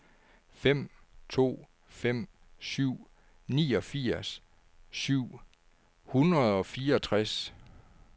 fem to fem syv niogfirs syv hundrede og fireogtres